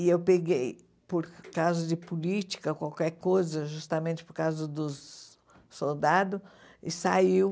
E eu peguei, por causa de política, qualquer coisa, justamente por causa dos soldados, e saiu.